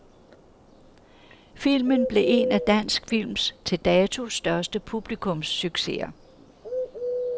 Filmen blev en af dansk films til dato største publikumssucceser.